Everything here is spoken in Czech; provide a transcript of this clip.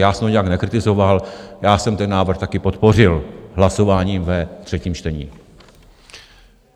Já jsem to nijak nekritizoval, já jsem ten návrh také podpořil hlasováním ve třetím čtení.